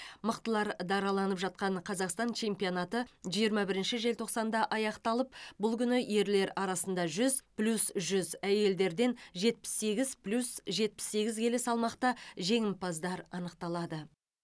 мықтылар дараланып жатқан қазақстан чемпионаты жиырма бірінші желтоқсанда аяқталып бұл күні ерлер арасында жүз плюс жүз әйелдерден жетпіс сегіз плюс жетпіс сегіз келі салмақта жеңімпаздар анықталады